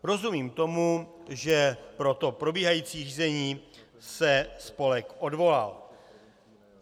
Rozumím tomu, že pro to probíhající řízení se spolek odvolal.